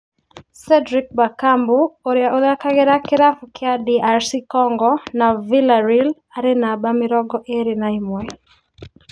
Cedric Bakambu ũria ũthakagira kĩravũkĩa DR Congo naVillareal arĩ namba mĩrongo ĩĩrĩ na ĩmwe.